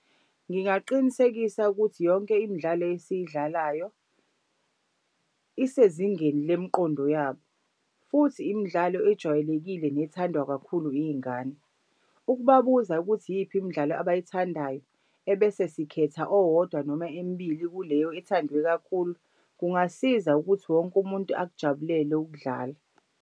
Ngingaqinisekisa ukuthi yonke imidlalo esiyidlalayo isezingeni lemiqondo yabo, futhi imidlalo ejwayelekile nethandwa kakhulu iy'ngane. Ukubabuza ukuthi iyiphi imidlalo abayithandayo ebese sikhetha owodwa noma emibili kuleyo ethandwe kakhulu, kungasiza ukuthi wonke umuntu akujabulele ukudlala.